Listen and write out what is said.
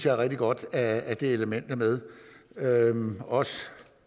er rigtig godt at det element er med og også